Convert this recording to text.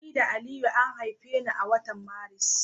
Ni da Aliyu an haife ni a watan Maris.